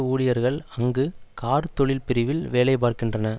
ஊழியர்கள் அங்கு கார்த்தொழில்பிரிவில் வேலை பார்க்கின்றனர்